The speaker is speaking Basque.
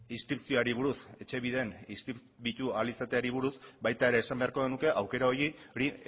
inskripzioari buruz etxebiden inskribatu ahal izateari buruz baita ere esan beharko genuke aukera horiek